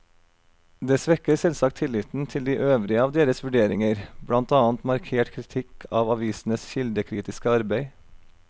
Det svekker selvsagt tilliten til de øvrige av deres vurderinger, blant annet markert kritikk av avisenes kildekritiske arbeid.